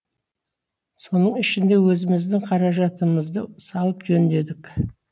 соның ішінде өзіміздің қаражатымызды салып жөндедік